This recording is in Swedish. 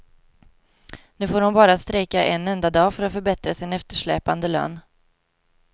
Nu får hon bara strejka en enda dag för att förbättra sin eftersläpande lön.